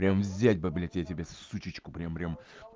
прям взять бы блядь я тебе сучечку прям прям